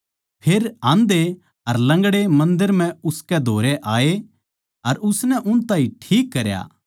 फेर आंधे अर लंगड़े मन्दर म्ह उसकै धोरै आये अर उसनै उन ताहीं ठीक करया